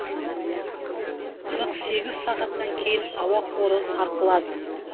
қырық сегіз сағаттан кейін ауа қоры сарқылады